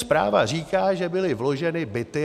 Zpráva říká, že byly vloženy byty.